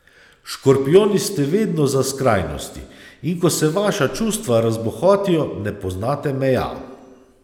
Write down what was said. Škorpijoni ste vedno za skrajnosti, in ko se vaša čustva razbohotijo, ne poznate meja.